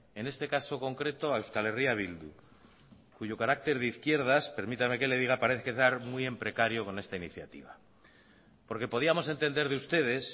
en este caso concreto a euskal herria bildu cuyo carácter de izquierdas permítame que le diga parece quedar muy en precario con esta iniciativa porque podíamos entender de ustedes